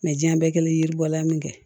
Mɛ diɲɛ bɛɛ kɛlen ye bɔla min kɛ